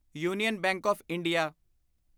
union bank of India